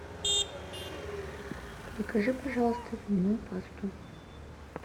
закажи пожалуйста зубную пасту